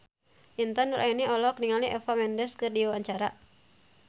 Intan Nuraini olohok ningali Eva Mendes keur diwawancara